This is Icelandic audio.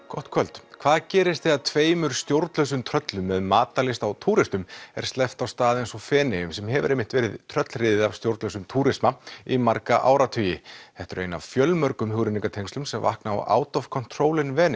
gott kvöld hvað gerist þegar tveimur stjórnlausum tröllum með matarlyst á túristum er sleppt á stað eins og Feneyjum sem hefur verið tröllriðið af stjórnlausum túrisma í marga áratugi þetta er ein af fjölmörgum hugrenningatengslum sem vakna á Out of control in